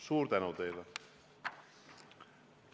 Suur tänu teile!